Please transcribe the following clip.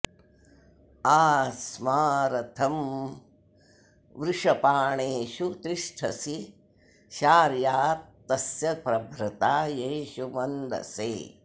आ स्मा रथं वृषपाणेषु तिष्ठसि शार्यातस्य प्रभृता येषु मन्दसे